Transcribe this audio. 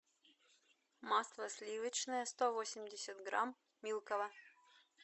масло сливочное сто восемьдесят грамм милково